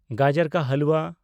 ᱜᱟᱡᱚᱨ ᱠᱟ ᱦᱟᱞᱣᱟ